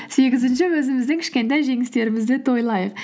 сегізінші өзіміздің кішкентай жеңістерімізді тойлайық